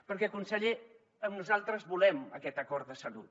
perquè conseller nosaltres volem aquest acord de salut